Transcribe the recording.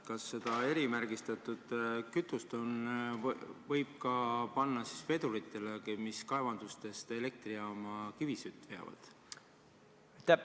Kas seda erimärgistatud kütust võib kasutada ka vedurites, mis kaevandustest elektrijaama kivisütt veavad?